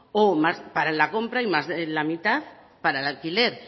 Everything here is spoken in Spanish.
para la compra y más de la mitad para el alquiler